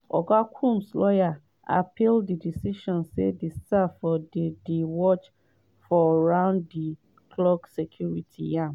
e say "my worry na say dis na crime wey dey happun behind close doors."